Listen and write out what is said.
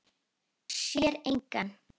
Sér engan.